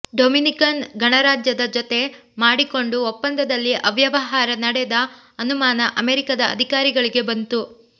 Dominican ಗಣರಾಜ್ಯದ ಜೊತೆ ಮಾಡಿಕೊಂಡ ಒಪ್ಪಂದದಲ್ಲಿ ಅವ್ಯವಹಾರ ನಡೆದ ಅನುಮಾನ ಅಮೆರಿಕದ ಅಧಿಕಾರಿಗಳಿಗೆ ಬಂತು